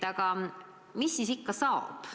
Aga mis siis ikkagi saab?